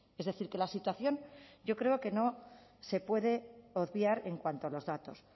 es decir que la situación yo creo que no se puede obviar en cuanto a los datos